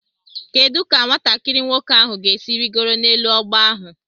Kedu ka nwatakiri nwoke ahụ ga-esi rịgoro n'elu ọgba ahụ?